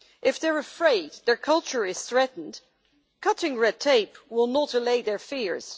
If they are afraid their culture is threatened, cutting red tape will not allay their fears.